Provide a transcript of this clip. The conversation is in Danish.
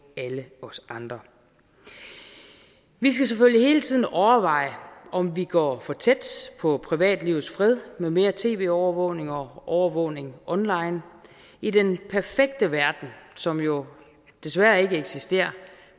alle os andre vi skal selvfølgelig hele tiden overveje om vi går for tæt på privatlivets fred med mere tv overvågning og overvågning online i den perfekte verden som jo desværre ikke eksisterer